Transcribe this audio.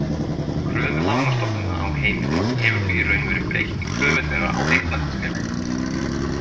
Kröfu lánastofnana á heimili hefur því í raun verið breytt í kröfu þeirra á eignarhaldsfélagið.